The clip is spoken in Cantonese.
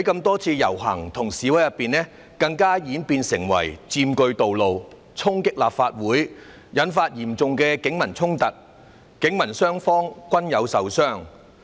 多次的遊行示威更演變為佔據道路、衝擊立法會，引發嚴重警民衝突，警民雙方均有人受傷。